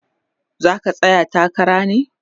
zaka tsaya takara ne?